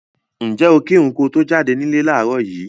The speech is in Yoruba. Ǹjẹ́ o kírun ko to jáde nílé láàárọ̀ yìí?